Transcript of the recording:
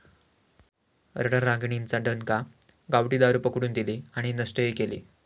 रणरागिणींचा दणका, गावठी दारू पकडून दिली आणि नष्टही केली!